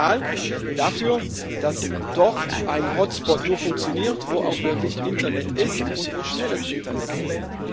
Es ist ein Signal dafür, dass ein Hotspot nur dort funktioniert, wo auch wirklich Internet ist und wo schnelles Internet ist.